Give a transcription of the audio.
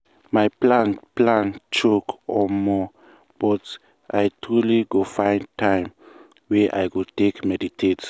my plan plan choke omo!!! but i truely go try find time wey i go take meditate.